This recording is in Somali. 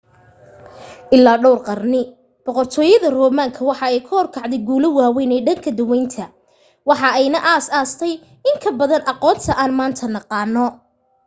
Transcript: ilaa dhowr qarni boqortooyada roman-ka waxa ay hor kacday guulo waaweyn ee dhanka daweynta waxa ayna aas aastay inta badan aqoonta aan maanta naqaano